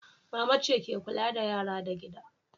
Mama ce ke kulla da yara da gida.